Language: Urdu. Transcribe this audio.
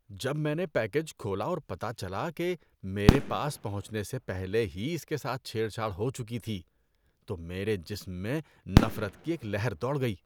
جب میں نے پیکیج کھولا اور پتہ چلا کہ میرے پاس پہنچنے سے پہلے ہی اس کے ساتھ چھیڑ چھاڑ ہو چکی تھی تو میرے جسم میں نفرت کی ایک لہر دوڑ گئی۔